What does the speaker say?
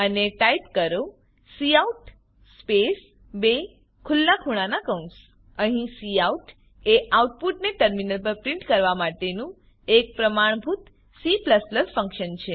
અને ટાઈપ કરો cout space બે ખુલ્લા ખૂણાનાં કૌંસ અહીં કાઉટ એ આઉટપુટને ટર્મિનલ પર પ્રીંટ કરવા માટેનું એક પ્રમાણભૂત C ફંક્શન છે